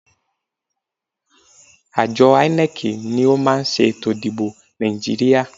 Àjọ INEC ni ó máa ṣe ètò ìdìbò Nàìjíríà.